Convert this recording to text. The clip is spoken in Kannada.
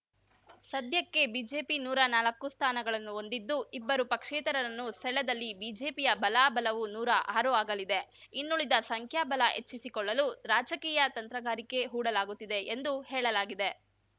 ಸದ್ಯಕ್ಕೆ ಬಿಜೆಪಿ ನೂರಾ ನಾಲ್ಕು ಸ್ಥಾನಗಳನ್ನು ಹೊಂದಿದ್ದು ಇಬ್ಬರು ಪಕ್ಷೇತರರನ್ನು ಸೆಳೆದ್ದಲ್ಲಿ ಬಿಜೆಪಿಯ ಬಲಾಬಲವು ನೂರಾ ಆರು ಆಗಲಿದೆ ಇನ್ನುಳಿದ ಸಂಖ್ಯಾಬಲ ಹೆಚ್ಚಿಸಿಕೊಳ್ಳಲು ರಾಜಕೀಯ ತಂತ್ರಗಾರಿಕೆ ಹೂಡಲಾಗುತ್ತಿದೆ ಎಂದು ಹೇಳಲಾಗಿದೆ